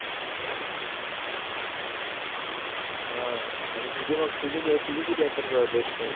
हां आणि तुझी मग तुझे तुझे किती आहे तर best friend